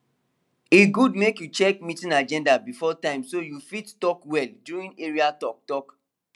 e good make you check meeting agenda before time so you fit talk well during area talktalk